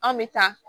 An bɛ taa